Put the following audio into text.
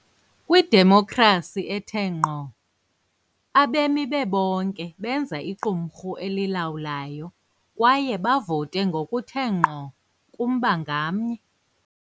Kwidemokhrasi ethe ngqo, abemi bebonke benza iqumrhu elilawulayo kwaye bavote ngokuthe ngqo kumba ngamnye.